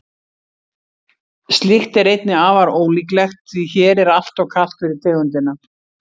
slíkt er einnig afar ólíklegt því hér er alltof kalt fyrir tegundina